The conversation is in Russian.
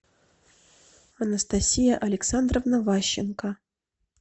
анастасия александровна ващенко